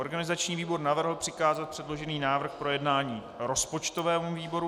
Organizační výbor navrhl přikázat předložený návrh k projednání rozpočtovému výboru.